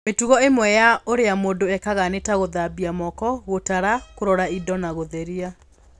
Mĩtugo ĩmwe ya ũrĩa mũndũ ekaga nĩ ta gũthambia moko, gũtara, kũrora indo na gũtheria.